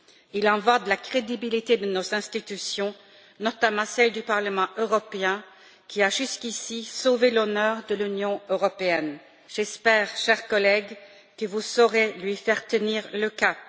Il en va de la crédibilité de nos institutions, notamment celle du Parlement européen, qui a, jusqu'ici, sauvé l'honneur de l'Union européenne. J'espère, chers collègues, que vous saurez lui faire tenir le cap.